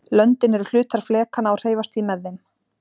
löndin eru hlutar flekanna og hreyfast því með þeim